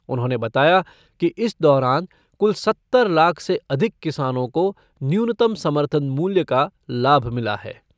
उन्होंने बताया कि इस दौरान कुल सत्तर लाख से अधिक किसानों को न्यूनतम समर्थन मूल्य का लाभ मिला है।